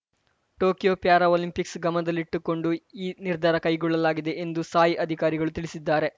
Tokyo Paralympics ಗಮನದಲ್ಲಿಟ್ಟುಕೊಂಡು ಈ ನಿರ್ಧಾರ ಕೈಗೊಳ್ಳಲಾಗಿದೆ ಎಂದು ಸಾಯ್‌ ಅಧಿಕಾರಿಗಳು ತಿಳಿಸಿದ್ದಾರೆ